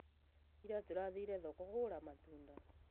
ĩra tũrathiĩre thoko kũgũra matunda